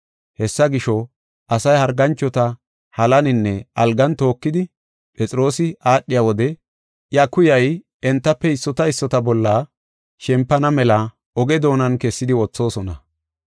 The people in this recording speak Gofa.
Hessa gisho, asay harganchota halaninne algan tookidi Phexroosi aadhiya wode iya kuyay entafe issota issota bolla shempana mela oge doonan kessidi wothoosona.